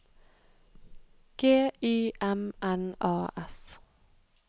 G Y M N A S